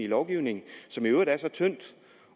lovgivningen som i øvrigt er så tyndt